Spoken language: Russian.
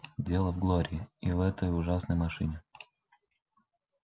дело в глории и в этой ужасной машине